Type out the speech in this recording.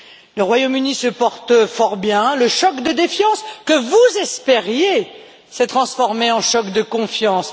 Le Royaume Uni se porte fort bien, le choc de défiance que vous espériez s'est transformé en choc de confiance.